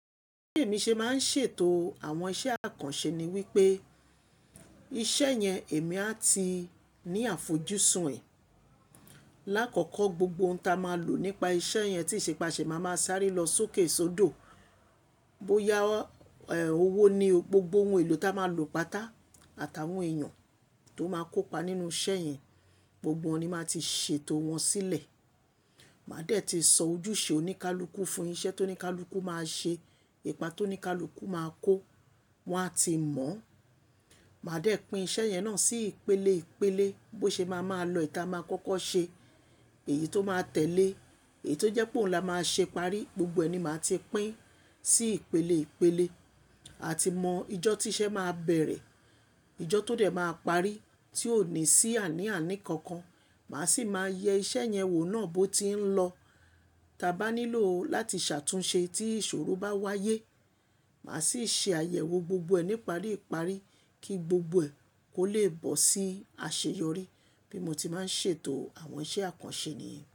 Bí èmi ṣe máa ń ṣètò àwọn iṣẹ́ àkànṣe ni wípé iṣẹ́ yẹn èmi a ti ní àfojúsùn ẹ̀. Láàkọ́kọ́, gbogbo ohun ta máa lò nípa iṣẹ́ yẹn tí ìṣe pe àṣẹ máa máa sáré lọ sókè sódò. Bóyá owó ni, gbogbo ohun èlò ta máa lò páta àtàwọn èèyàn tó máa kópa nínú iṣẹ́ yẹn, gbogbo won ni màá ti ṣètò wọn sílẹ̀. Màá dẹ̀ ti sọ ojúṣe oníkálukú fún iṣẹ́ tó ní ká luku máa ṣe, ipa tó ní ká luku máa kó, wọn a ti mọ̀. Màá dẹ̀ pín iṣẹ́ yẹn náà sí ìpele ìpele, bó ṣe máa máa lọ ìta máa kọ́kọ́ ṣe, èyí tó máa tẹ̀lé, èyí tó jẹ́ pé òun la máa ṣe parí, gbogbo ẹ̀ ni màá ti pín sí ìpele ìpele. A ti mọ ìjọ tí iṣẹ́ máa bẹ̀rẹ̀, ìjọ tó dẹ̀ máa parí tí ò ní sí àní àní kankan. Màá sì máa yẹ iṣẹ́ yẹn wò náà bó ti ń lọ. Ta bá nílò ó láti ṣàtúnṣe tí ìṣòro bá wáyé, màá sì ṣe àyẹ̀wò gbogbo ẹ̀ ní iparíparí kí gbogbo ẹ̀ kó lè bọ̀ sí àṣeyọrí. Bí mo ti máa ń ṣètò àwọn iṣẹ́ àkànṣe nìyẹn.